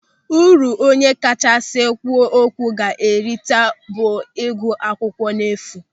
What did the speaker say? Uru onye kachasị kwuo okwu ga-erita bụ ịgụ akwụkwọ n'efu.